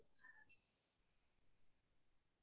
অহ্‌ হ'য় হ'য়